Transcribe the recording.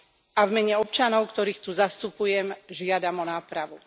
A v mene občanov, ktorých tu zastupujem, žiadam o nápravu.